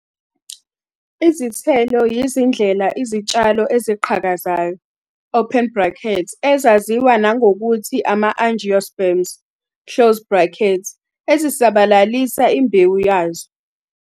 Izithelo yizindlela izitshalo eziqhakazayo, open brackets, ezaziwa nangokuthi ama-angiosperms, close brackets, ezisabalalisa imbewu yazo.